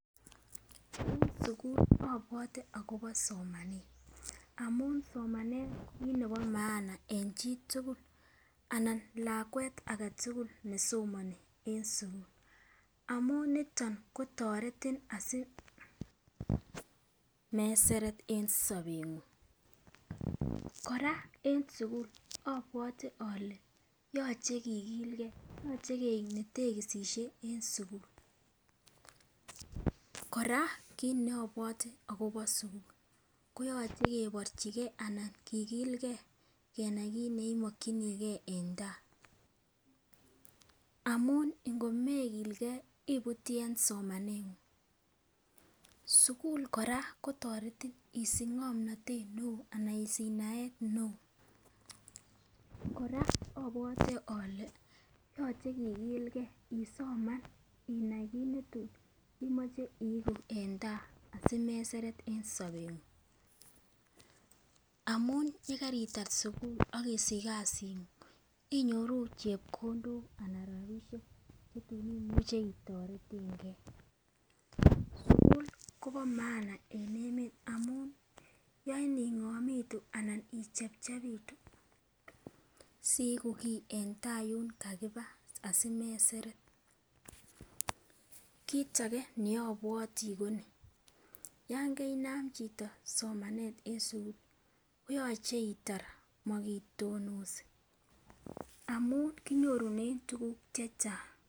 En sukul obwote Kobo somanet amun somanet ko kit nebo maana en chitukul anan lakwet aketukul nesomoni en sukul, amun niton kotoretin asimeseret en sobenguny. Koraa en sukulo obwote ole yoche kikllgee, yoche keik netekisishe rn sukul, Koraa kit ne obwote akobo sukul koyoche kenyorchigee anan kikilgee kenai kit neimokinigee en tai amun ngatko mekilgee ibutii en somanengung. Sukul Koraa kotoretin isnich ngomnotet neo anan isich naet neo, Koraa obwote ole yoche kikilgee isoman inai kit netun imoche iiku en tai asimeseret en sobenguny amun yekaritar sukul akisich kasinguny inyoruu chepkondok anan rabishek chetun imuche itoretengee. Sukul Kobo maana en emet amun yoin ingomitu anan ichepchepitu siiku kii en tai yun kakiba asimeseret. Kita age nobwotii Koni yon keinam chito somanet en sukul ko yoche itar mokitonosi amun kinyorunen tukuk chechang.